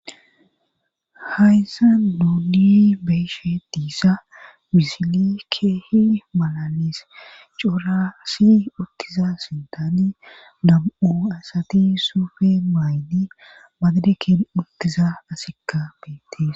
hayssa duuni beeshe diissa bisili keehi malanis coura si uttiza sintani dam7u asati suufe maaydi madidekeen uttiza asikka beettis